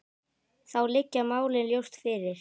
Þá liggja málin ljóst fyrir.